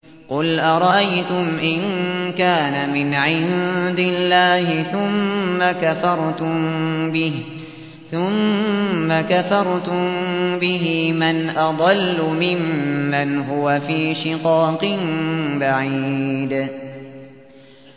قُلْ أَرَأَيْتُمْ إِن كَانَ مِنْ عِندِ اللَّهِ ثُمَّ كَفَرْتُم بِهِ مَنْ أَضَلُّ مِمَّنْ هُوَ فِي شِقَاقٍ بَعِيدٍ